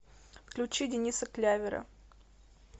включи дениса клявера